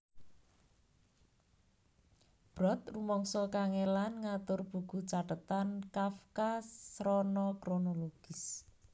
Brod rumangsa kangèlan ngatur buku cathetan Kafka srana kronologis